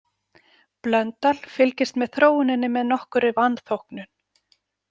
Blöndal fylgdist með þróuninni með nokkurri vanþóknun.